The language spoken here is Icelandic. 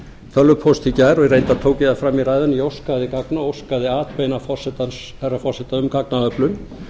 tölvupóst í gær og reyndar tók ég það fram í ræðunni að ég óskaði gagna óskaði atbeina herra forseta um gagnaöflun